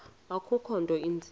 akukho nto inzima